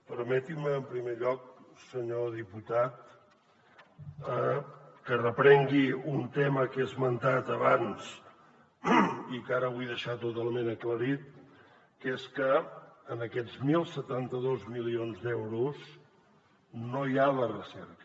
permetin me en primer lloc senyor diputat que reprengui un tema que he esmentat abans i que ara vull deixar totalment aclarit que és que en aquests deu setanta dos milions d’euros no hi ha la recerca